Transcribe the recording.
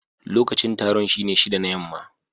Lokacin taron shine shida na yamma.